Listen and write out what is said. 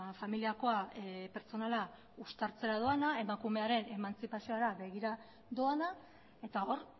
familiakoa pertsonala uztartzera doana emakumearen emantzipaziora begira doana eta hor